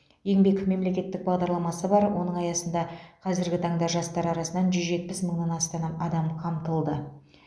еңбек мемлекеттік бағдарламасы бар оның аясында қазіргі таңда жастар арасынан жүз жетпіс мыңнан астаған адам қамтылды